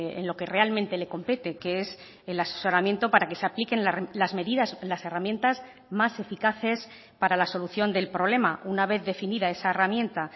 en lo que realmente le compete que es el asesoramiento para que se apliquen las medidas las herramientas más eficaces para la solución del problema una vez definida esa herramienta